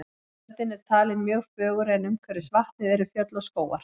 Ströndin er talin mjög fögur en umhverfis vatnið eru fjöll og skógar.